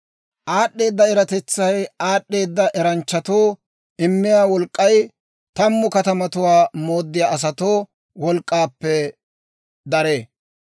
Aad'd'eeda eratetsay aad'd'eeda eranchchatoo immiyaa wolk'k'ay tammu katamatuwaa mooddiyaa asatoo wolk'k'aappe daree.